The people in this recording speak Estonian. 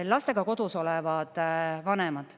Lastega kodus olevad vanemad.